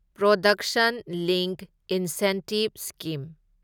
production link incentive scheme